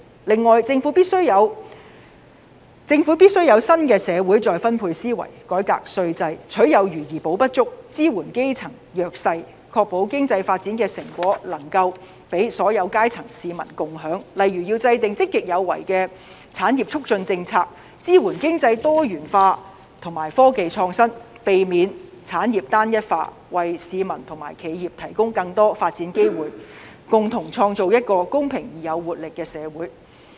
此外，政府必須有新的社會再分配思維，改革稅制，取有餘而補不足，支援基層弱勢，確保經濟發展的成果能夠讓所有階層的市民共享，例如要制訂積極有為的產業促進政策、支援經濟多元化，以及科技創新，避免產業單一化，為市民和企業提供更多發展機會，共同創造一個公平而具活力的社會。